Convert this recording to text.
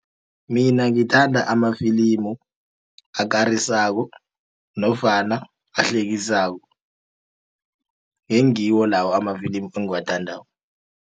Mina ngithanda amafilimu akarisako nofana ahlekisako ngengiwo lawo amafilimu engiwathandako.